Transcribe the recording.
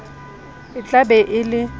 e tla be e le